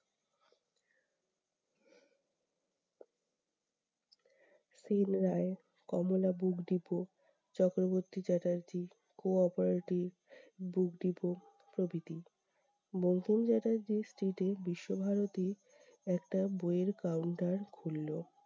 Scene Ray, Kamala book depot, Chakraborty Chatterjee, co-operative book depot প্রভৃতি। Bankim Chatterjee street এ বিশ্বভারতী একটা বই এর counter খুললো।